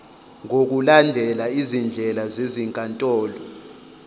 ngokulandela izindlela zezinkantolo